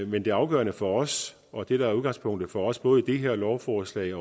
men det afgørende for os og det der er udgangspunktet for os både i det her lovforslag